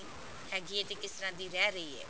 ਹੈਗੀ ਹੈ ਤੇ ਕਿਸ ਤਰ੍ਹਾਂ ਦੀ ਰਹਿ ਰਹੀ ਹੈ